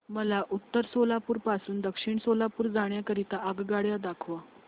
मला उत्तर सोलापूर पासून दक्षिण सोलापूर जाण्या करीता आगगाड्या दाखवा